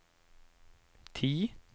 ti